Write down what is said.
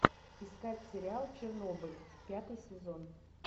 искать сериал чернобыль пятый сезон